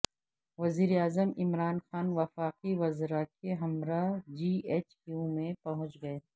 وزیر اعظم عمران خان وفاقی وزراء کے ہمراہ جی ایچ کیو پہنچ گئے